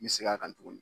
N bɛ segin a kan tuguni